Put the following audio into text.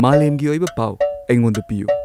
ꯃꯥꯂꯦꯝꯒꯤ ꯑꯣꯏꯕ ꯄꯥꯎ ꯑꯩꯉꯣꯟꯗ ꯄꯤꯌꯨ